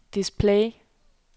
display